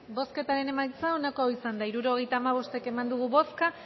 bozketaren emaitza onako izan da hirurogeita hamabost eman dugu bozka